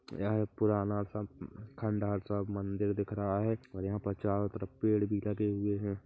यह एक पुराना सा खंडहर सा मंदिर दिख रहा है और यहाँ पर चारों तरफ पेड़ भी लगे हुए है।